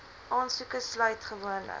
aansoeke sluit gewoonlik